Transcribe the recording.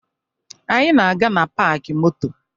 Anyị na-aga na paakị moto